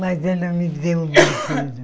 Mas ela me deu um.